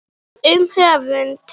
Um höfund